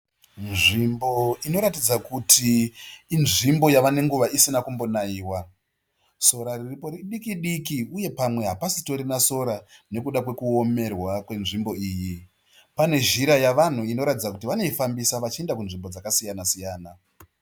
Nzvimbo inoratidza kuti inzvimbo yava nenguva isina kumbonaiwa. Sora riripo idiki diki uye pamwe hapachitorina sora nekuda kwekuomerwa kwenzvimbo iyi. Pane nzira yevanhu inoratidza kuti vanoifambisa vachienda kwakasiyana siyana.